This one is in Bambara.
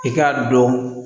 I k'a dɔn